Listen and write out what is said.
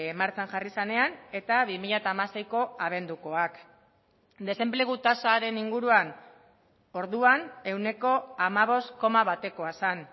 martxan jarri zenean eta bi mila hamaseiko abendukoak desenplegu tasaren inguruan orduan ehuneko hamabost koma batekoa zen